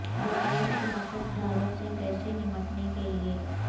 برا لیب شراکت داروں سے کیسے نمٹنے کے لئے